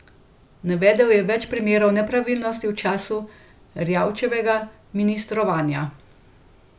Navedel je več primerov nepravilnosti v času Erjavčevega ministrovanja.